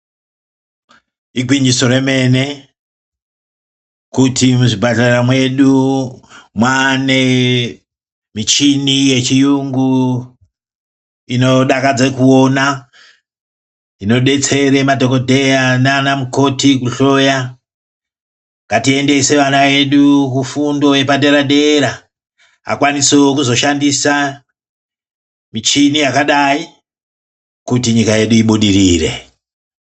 Igwinyiso remene, kuti muzvipatara medu manemichini yechiyungu, inodakadze kuwona, inodetsere madhokodheya nanamukoti kuhloya. Ngatiyendese vana vedu kufundo yepadera dera, akwanisewo kuzoshandisa michini yakadayi, kuti nyika yedu ibudirire.